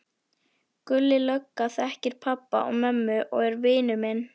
Gulli lögga þekkir pabba og mömmu og er vinur minn.